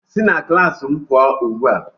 Si na klaasị m pụọ ugbu a!